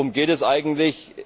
Worum geht es eigentlich?